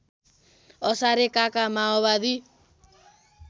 असारे काका माओवादी